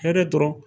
Hɛrɛ tɔɔrɔ